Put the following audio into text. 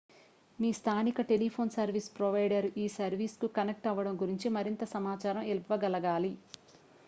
మీ స్థానిక telephone service provider ఈ సర్వీస్కు కనెక్ట్ అవ్వడం గురించి మరింత సమాచారం ఇవ్వగలగాలి